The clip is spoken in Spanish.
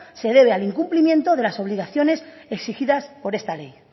se debe al incumplimiento de las obligaciones exigidas por esta ley